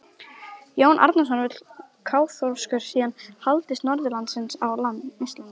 Jón Arason vill að kaþólskur siður haldist norðanlands á Íslandi.